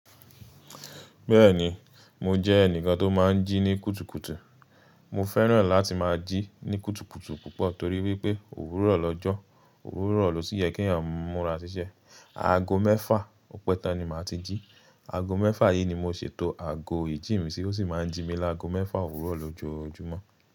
Bẹ́ẹ̀ni, mo jẹ́ ẹnìkan tó máa ń jí ní kùtùkùtù. Mo fẹ́ràn láti máa jí ní kùtùkùtù púpọ̀ torí wípé òwúrọ̀ lọ́jọ́, òwúrọ̀ lò si yẹ kí ènìyàn múra ṣíṣe. Aago mẹ́fà ọpẹ́ tán ni màá ti jí. Aago mẹ́fà yìí ni mo ṣètò aago ìjì mi sí, ó sì máa ń jí mi lágo mẹ́fà òwúrọ̀ lójoojúmọ́